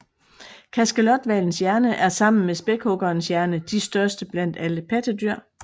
Kaskelothvalens hjerne er sammen med spækhuggerens hjerne de største blandt alle pattedyr